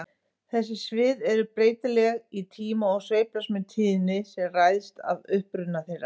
Þessi svið eru breytileg í tíma og sveiflast með tíðni sem ræðst af uppruna þeirra.